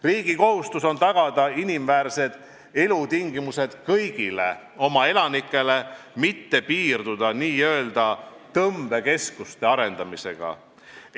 Riigi kohustus on tagada inimväärsed elutingimused kõigile elanikele, mitte piirduda n-ö tõmbekeskuste arendamisega.